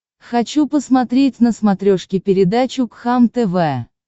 хочу посмотреть на смотрешке передачу кхлм тв